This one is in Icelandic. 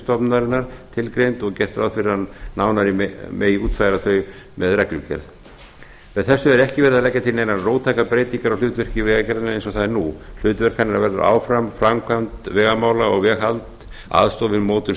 stofnunarinnar tilgreind og gert ráð fyrir að nánar megi útfæra þau með reglugerð með þessu er ekki verið að leggja til neinar róttækar breytingar á hlutverki vegagerðarinnar eins og það er nú hlutverk hennar verður áfram framkvæmd vegamála og veghalds aðstoð við mótun